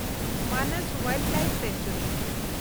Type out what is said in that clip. ᱢᱟᱱᱚᱥ ᱵᱤᱨ ᱡᱤᱣ ᱥᱮᱱᱠᱪᱩᱣᱟᱨᱤ